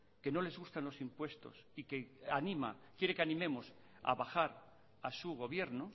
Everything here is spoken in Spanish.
que no les gustan los impuestos y que animan quiere que animemos a bajar a su gobierno